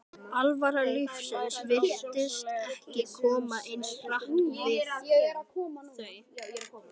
alvara lífsins virtist ekki koma eins hart við þau.